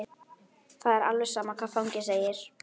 Það er alveg sama hvað fangi segir.